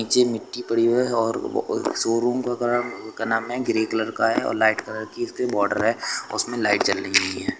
नीचे मिट्टी पड़ी है और वो शोरूम का कलर उनका नाम है ग्रे कलर का है और लाइट कलर की इसके बॉर्डर है उसमें लाइट जल रही है।